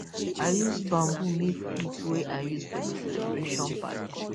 i use bamboo make flute wey i use for di celebration party